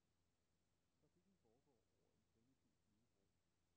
Trafikken foregår over en primitiv flydebro.